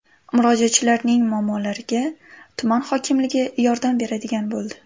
Murojaatchilarning muammolariga tuman hokimligi yordam beradigan bo‘ldi.